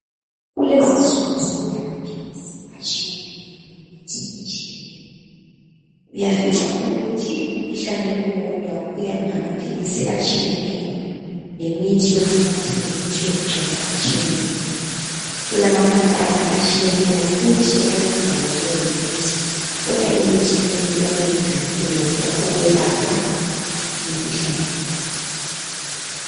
Kulezi nsuku soku lamaphilisi atshiyeneyo lemithi etshiyeneyo. Uyafica ukuthi umkhuhlane owodwa uyabe ilamaphilisi atshiyeneyo lemithi yokunatha lemithi yokugcoba etshiyeneyo. Kulama company atshiyeneyo futhi ayenzayo leyo mithi, kodwa imithi leyo iyabe ilenjongo eyodwa , ukwelapha imikhuhlane.